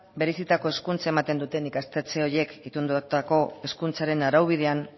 bereizitako hezkuntza ematen duten ikastetxe horiek itundutako hezkuntzaren araubidean